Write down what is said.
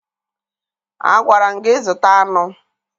Agwara m gị zụta anụ!